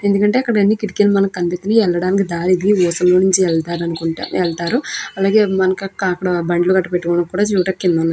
ఎందుకంటే అక్కడ అన్ని కిటికీలు మనకి కనిపిస్తుంది. వెళ్ళడానికి దారి ఇది. కింద నుండి వెళ్తారనుకుంటా వెళ్తారు. అలాగే బండ్లు పెట్టుకోడానికి ఉంది.